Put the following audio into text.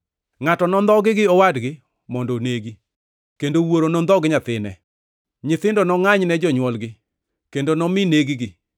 “Ngʼato nondhogi gi owadgi mondo onegi, kendo wuoro nondhog nyathine; nyithindo nongʼany ne jonywolgi kendo nomi neg-gi.